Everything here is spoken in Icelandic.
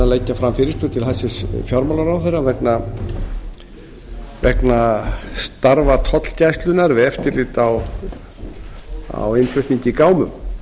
leggja fram fyrirspurn til hæstvirts fjármálaráðherra vegna starfa tollgæslunnar við eftirlit á innflutningi í